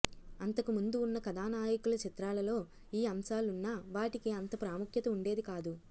అంతకు ముందు ఉన్న కథానాయకుల చిత్రాలలో ఈ అంశాలున్నా వాటికి అంత ప్రాముఖ్యత ఉండేది కాదు